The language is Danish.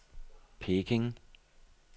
Peking